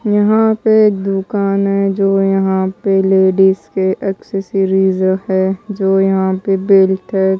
यहां पे दुकान है जो यहां पे लेडिस के एक्सेसरीज़ है जो यहां पे बेल्ट है।